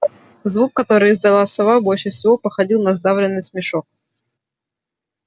звук который издала сова больше всего походил на сдавленный смешок